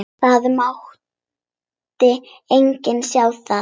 Það mátti enginn sjá það.